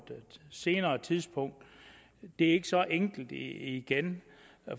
senere tidspunkt det er ikke så enkelt igen